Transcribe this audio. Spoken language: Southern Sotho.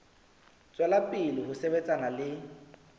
tswela pele ho sebetsana le